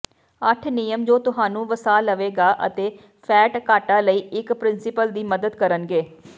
ਅੱਠ ਨਿਯਮ ਜੋ ਤੁਹਾਨੂੰ ਵਸਾ ਲਵੇਗਾ ਅਤੇ ਫੈਟ ਘਾਟਾ ਲਈ ਇੱਕ ਪ੍ਰਿੰਸੀਪਲ ਦੀ ਮਦਦ ਕਰਨਗੇ